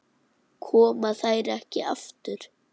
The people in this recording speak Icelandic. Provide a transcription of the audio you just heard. Koma þær ekki aftur?